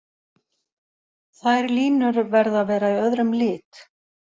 Þær línur verða að vera í öðrum lit.